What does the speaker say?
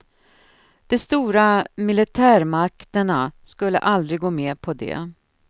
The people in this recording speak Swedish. De stora militärmakterna skulle aldrig gå med på det.